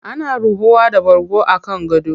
Ana ruhuwa da bargo a kan gado.